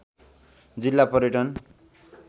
जिल्ला पर्यटन